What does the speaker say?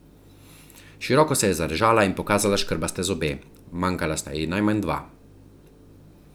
Široko se je zarežala in pokazala škrbaste zobe, manjkala sta ji najmanj dva.